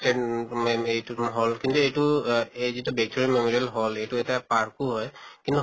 এইটো hall কিন্তু এইটো অহ এই যিটো ভিক্টোৰিয়া memorial hall এইটো এটা park ও হয় কিন্তু